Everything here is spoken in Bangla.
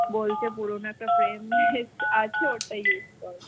বলছে পুরনো একটা frame আছে, ওইটা use কর।